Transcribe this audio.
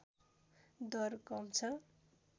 दर कम छ